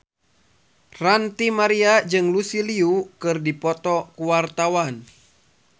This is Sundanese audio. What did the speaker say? Ranty Maria jeung Lucy Liu keur dipoto ku wartawan